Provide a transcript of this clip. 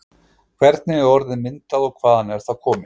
Hvernig er orðið myndað og hvaðan er það komið?